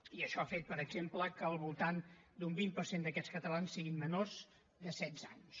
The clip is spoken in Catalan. i això ha fet per exemple que al voltant d’un vint per cent d’aquests catalans siguin menors de setze anys